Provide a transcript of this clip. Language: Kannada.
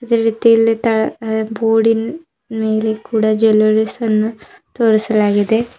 ಅದೇ ರೀತಿ ಇಲ್ಲಿ ತಳ ಆ ಬೋರ್ಡಿನ್ ಮೇಲೆ ಕೂಡ ಜೆವೆಲ್ಲರಿಸ್ ಅನ್ನ ತೋರಿಸಲಾಗಿದೆ.